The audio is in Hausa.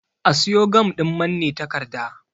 A siyo gam ɗin manne takarda